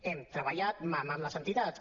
hem treballat mà a mà amb les entitats